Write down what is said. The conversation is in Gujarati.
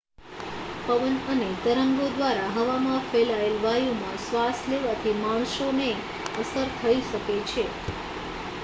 પવન અને તરંગો દ્વારા હવામાં ફેલાયેલ વાયુમાં શ્વાસ લેવાથી માણસોને અસર થઈ શકે છે